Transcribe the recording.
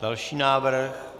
Další návrh.